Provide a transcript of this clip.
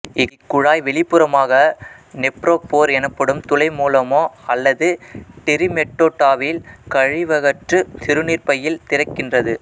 இக்குழாய் வெளிப்புறமாக நெப்ரோபோர் எனப்படும் துளை மூலமோ அல்லது டிரிமெட்டோடாவில் கழிவகற்று சிறுநீர்ப்பையில் திறக்கின்றது